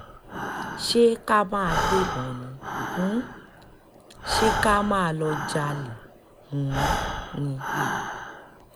ṣé ká máa gbébọn ni um ṣe ká máa lọọ́ jalè um ni